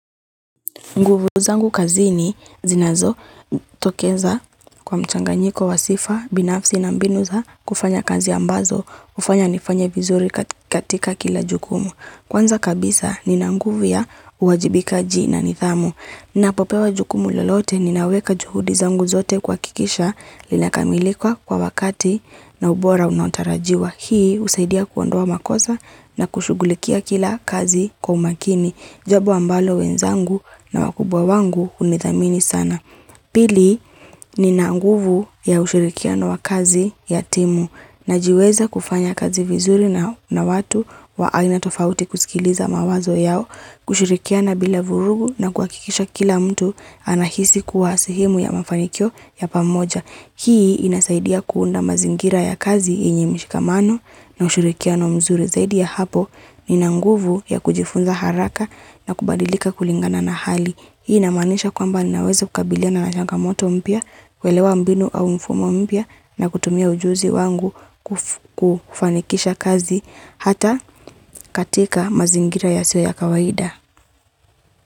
Nguvu zangu kazini zinazotokeza kwa mchanganyiko wa sifa, binafsi na mbinu za kufanya kazi ambazo, hufanya nifanye vizuri katika kila jukumu. Kwanza kabisa nina nguvi ya uwajibikaji na nidhamu. Napopewa jukumu lolote ninaweka juhudi zangu zote kuhakikisha linakamilika kwa wakati na ubora unaotarajiwa. Hii husaidia kuondoa makosa na kushughulikia kila kazi kwa umakini. Jambo ambalo wenzangu na wakubwa wangu hunithamini sana. Pili nina nguvu ya ushirikiano wa kazi ya timu najiweza kufanya kazi vizuri na watu wa aina tofauti kusikiliza mawazo yao kushirikiana bila vurugu na kuhakikisha kila mtu anahisi kuwasehemu ya mafanikio ya pamoja. Hii inasaidia kuunda mazingira ya kazi yenye mshikamano na ushirikiano mzuri zaidi ya hapo. Nina nguvu ya kujifunza haraka na kubadilika kulingana na hali Hii inamanisha kwamba ninaweza kukabiliana na changamoto mpya kuelewa mbinu au mfumo mpya na kutumia ujuzi wangu kufanikisha kazi Hata katika mazingira yasiyo ya kawaida.